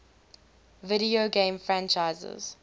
video game franchises